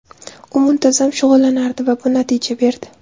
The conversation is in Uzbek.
U muntazam shug‘ullanardi va bu natija berdi.